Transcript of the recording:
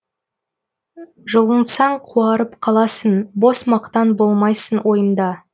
жұлынсаң қуарып қаласың бос мақтан болмасын ойыңда